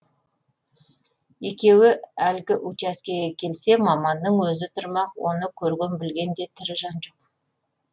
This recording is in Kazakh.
екеуі әлгі учаскеге келсе маманның өзі тұрмақ оны көрген білген де тірі жан жоқ